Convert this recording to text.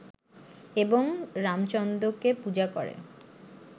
এবং রামচন্দ্রকে পূজা করে